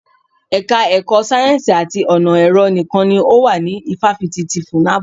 Ẹka ẹ̀kọ́ sáyẹ́nsì àti ọ̀nà ẹ̀rọ nìkan ni ó wà ní ifáfitì ti FUNAB.